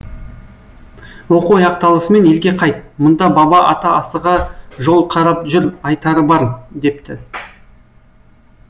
оқу аяқталысымен елге қайт мұнда баба ата асыға жол қарап жүр айтары бар депті